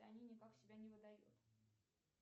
они никак себя не выдает